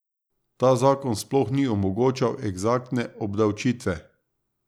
Ta zakon sploh ni omogočal eksaktne obdavčitve.